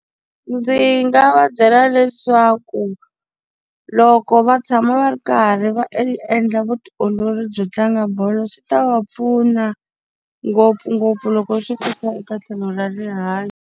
Ndzi nga va byela leswaku, loko va tshama va ri karhi va endla vutiolori byo tlanga bolo swi ta va pfuna ngopfungopfu loko swi ta eka tlhelo ra rihanyo.